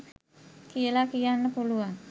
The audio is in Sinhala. කියලා කියන්න පුලුවන්.